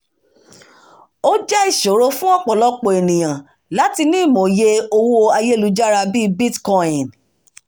ó jẹ́ ìṣòro fún ọ̀pọ̀lọpọ̀ àwọn ènìyàn láti ní òye owó ayélujára bí i bitcoin